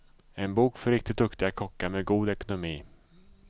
En bok för riktigt duktiga kockar med god ekonomi.